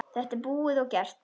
Þetta er búið og gert.